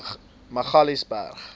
magaliesburg